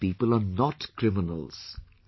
These people are not criminals